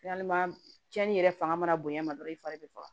cɛnnin yɛrɛ fanga mana bonya ma dɔrɔn i fari bi faga